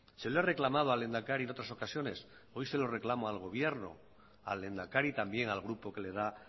se lo he reclamado al lehendakari en otras ocasiones hoy se la reclamo al gobierno al lehendakari también al grupo que le da